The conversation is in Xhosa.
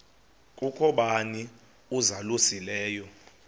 kukho bani uzalusileyo